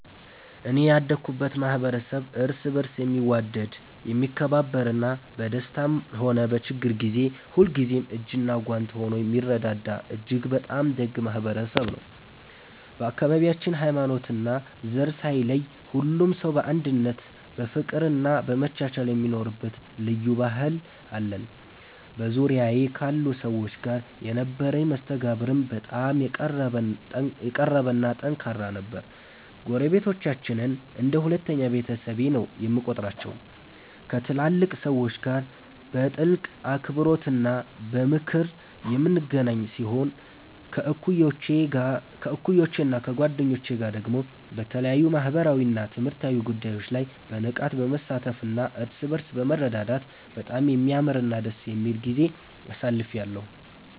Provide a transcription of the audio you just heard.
እኔ ያደኩበት ማኅበረሰብ እርስ በርስ የሚዋደድ፣ የሚከባበርና በደስታም ሆነ በችግር ጊዜ ሁልጊዜም እጅና ጓንት ሆኖ የሚረዳዳ እጅግ በጣም ደግ ማኅበረሰብ ነው። በአካባቢያችን ሃይማኖትና ዘር ሳይለይ ሁሉም ሰው በአንድነት በፍቅርና በመቻቻል የሚኖርበት ልዩ ባህል አለን። በዙሪያዬ ካሉ ሰዎች ጋር የነበረኝ መስተጋብርም በጣም የቀረበና ጠንካራ ነበር። ጎረቤቶቻችንን እንደ ሁለተኛ ቤተሰቤ ነው የምቆጥራቸው፤ ከትላልቅ ሰዎች ጋር በጥልቅ አክብሮትና በምክር የምንገናኝ ሲሆን፣ ከእኩዮቼና ከጓደኞቼ ጋር ደግሞ በተለያዩ ማኅበራዊና ትምህርታዊ ጉዳዮች ላይ በንቃት በመሳተፍና እርስ በርስ በመረዳዳት በጣም የሚያምርና ደስ የሚል ጊዜ አሳልፌአለሁ።